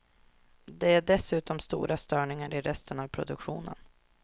Det är dessutom stora störningar i resten av produktionen.